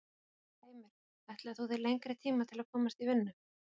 Heimir: Ætlaðir þú þér lengri tíma til að komast í vinnu?